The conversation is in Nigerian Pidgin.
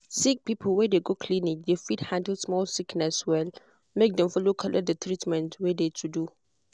sick people wey de go clinic de fit handle small sickness well make dem follow collect d treatment wey de to do.